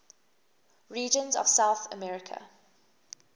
regions of south america